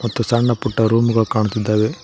ಮತ್ತು ಸಣ್ಣ ಪುಟ್ಟ ರೂಮ್ ಗಳು ಕಾಣ್ತಿದ್ದಾವೆ.